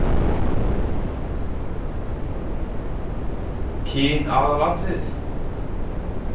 Kyn aðalatriði?